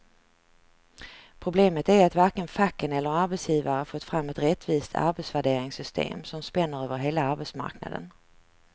Problemet är att varken facken eller arbetsgivare fått fram ett rättvist arbetsvärderingssystem som spänner över hela arbetsmarknaden.